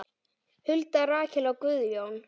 Hulda, Rakel og Guðjón.